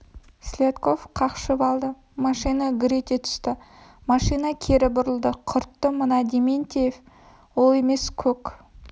селедков қақшып алды машина гүр ете түсті машина кері бұрылды құрттты мына дементьев ол емес көк